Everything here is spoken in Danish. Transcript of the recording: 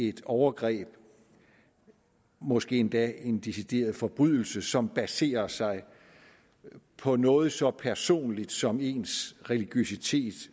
et overgreb måske endda en decideret forbrydelse som baserer sig på noget så personligt som ens religiøsitet